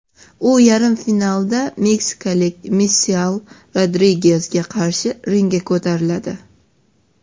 U yarim finalda meksikalik Misael Rodrigezga qarshi ringga ko‘tariladi.